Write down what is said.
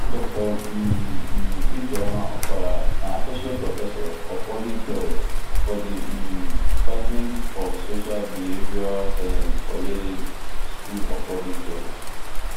dr um um ijeoma opara na associate professor of public health for di um department of social behavioural sciences for yale school of public health